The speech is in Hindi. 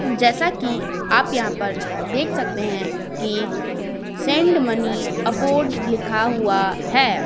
जैसा कि आप यहाँ पर देख सकते हैं कि सेंड मनी अवॉर्ड लिखा हुआ है।